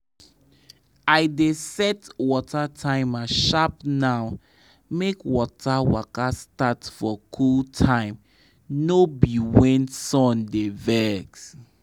i dey set my water timer sharp now make water waka start for cool time no be when sun dey vex.